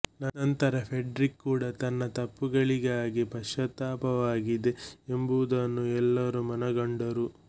ನಂತರ ಫ್ರೆಡ್ರಿಕ್ ಕೂಡಾ ತನ್ನ ತಪ್ಪುಗಳಿಗಾಗಿ ಪಶ್ಚಾತ್ತಾಪವಾಗಿದೆ ಎಂಬುದನ್ನು ಎಲ್ಲರೂ ಮನಗಂಡರು